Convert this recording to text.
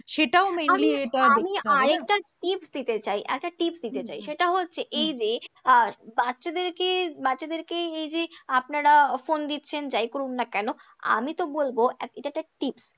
সেটাও mainly এটা দেখতে হবে না? আমি আর একটা tips দিতে চাই, একটা tips দিতে চাই, সেটা হচ্ছে এই যে আহ বাচ্চাদেরকে বাচ্চাদেরকে এই যে আপনারা ফোন দিচ্ছেন যাই করুন না কেন, আমি তো বলবো এটা একটা tips